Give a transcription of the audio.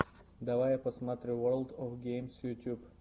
давай я посмотрю ворлд оф геймс ютьюб